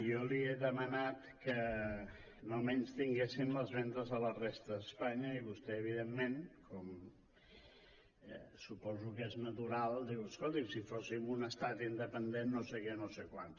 jo li he demanat que no menystinguessin les vendes a la resta d’espanya i vostè evidentment com suposo que és natural diu escolti’m si fóssim un estat independent no sé què no sé quants